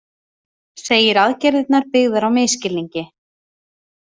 Segir aðgerðirnar byggðar á misskilningi